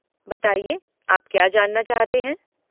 बताइए, आप क्या जानना चाहते हैं?